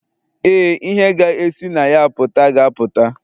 Ee, ihe ga-esi na ya pụta ga-apụta.